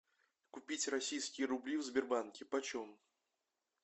купить российские рубли в сбербанке почем